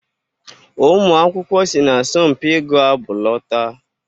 Ụmụ akwụkwọ si n'asọmpi ịgụ abụ lọta